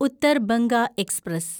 Uttar Banga express